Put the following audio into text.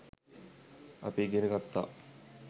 අපි ඉගෙන ගත්තා.